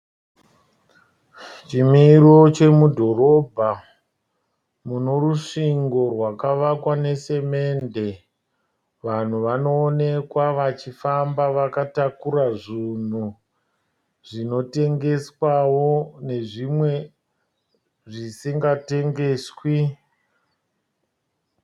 Chimiro chemudhorobha munorusvingo rwakavakwa nesemende. Vanhu vanoonekwa vachifamba vakatakura zvunhu zvinotengeswawo nezvimwe zvisingatengeswi.